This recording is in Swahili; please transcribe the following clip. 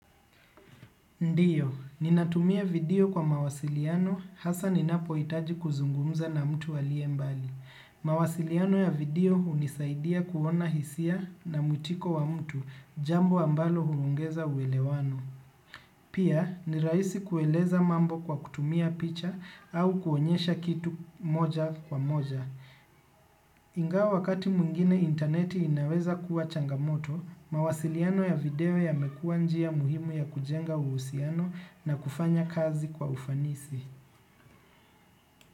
Ndio, ninatumia video kwa mawasiliano hasa ninapohitaji kuzungumuza na mtu aliyembali. Mawasiliano ya video hunisaidia kuona hisia na mwitiko wa mtu jambo ambalo huongeza uwelewano. Pia, nirahisi kueleza mambo kwa kutumia picha au kuonyesha kitu moja kwa moja. Ingawa wakati mwingine interneti inaweza kuwa changamoto, mawasiliano ya video yamekuwa njia muhimu ya kujenga uhusiano na kufanya kazi kwa ufanisi.